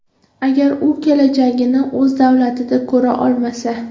Agar u kelajagini o‘z davlatida ko‘ra olmasa.